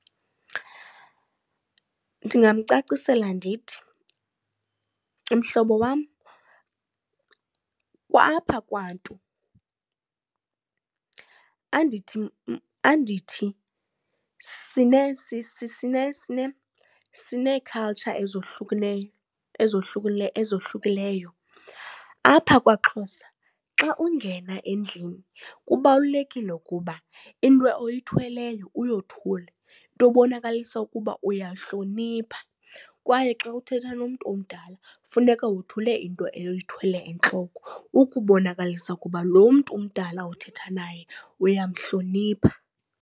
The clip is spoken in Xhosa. Ndingamcacisela ndithi, mhlobo wam apha kwantu andithi sineekhaltsha ezohlukeneyo, ezohlukileyo. Apha kwaXhosa, xa ungena endlini kubalulekile ukuba into oyithweleyo uyothule, into ebonakalisa ukuba uyahlonipha. Kwaye xa uthetha nomntu omdala funeka wothule into oyithwele entloko ukubonakalisa ukuba loo mntu umdala uthetha naye uyamhlonipha.